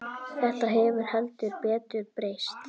Þetta hefur heldur betur breyst.